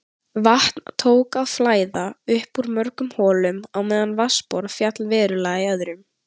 Vatn tók að flæða upp úr mörgum holum á meðan vatnsborð féll verulega í öðrum.